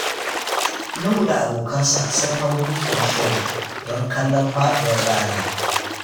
Nuhu da abokansa sun hau dutsen Shere don kallon faɗuwar rana.